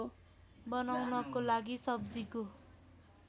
बनाउनको लागि सब्जीको